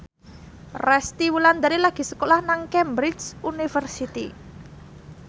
Resty Wulandari lagi sekolah nang Cambridge University